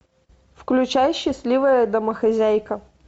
включай счастливая домохозяйка